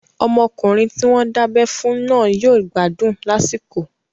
Ọmọkùnrin tí wọ́n dábẹ́ fún náà yóò gbádùn lásìkò